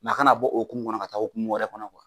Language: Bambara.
A kana bɔ o okumu kɔnɔ ka taa okumu wɛrɛ kɔnɔ